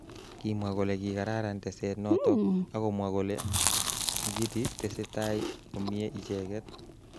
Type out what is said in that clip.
Kimwa kole kikararan teset notok akomwa kole Mugithi tesetai komye icheket.